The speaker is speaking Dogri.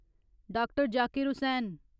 डाक्टर. जाकिर हुसैन